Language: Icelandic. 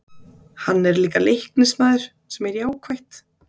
Hann er líka Leiknismaður sem er jákvætt.